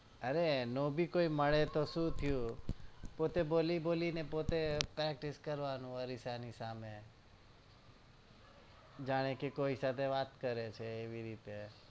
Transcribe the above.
અરે એનો ભી કોઈ મળેતો શું થયું પોતે બોલી બોલી ને પોતે practice કરવાની પોતે અરીસા ની સામે જાણે કે કોઈ સાથે વાત કરે છે